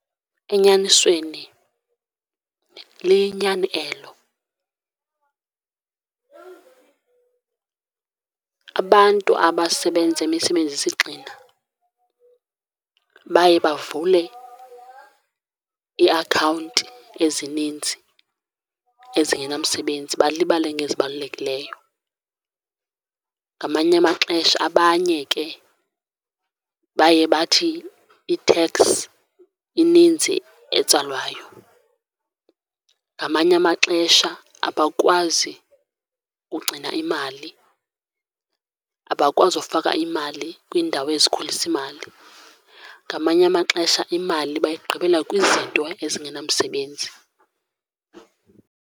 Enyanisweni liyinyani elo. Abantu abasebenza imisebenzi esigxina baye bavule iiakhawunti ezininzi ezingenamsebenzi, balibale ngezibalulekileyo. Ngamanye amaxesha abanye ke baye bathi iteks ininzi etsalwayo, ngamanye amaxesha abakwazi ugcina imali, abakwazi ufaka imali kwiindawo ezikhulisa imali. Ngamanye amaxesha imali bayigqibela kwizinto ezingenamsebenzi.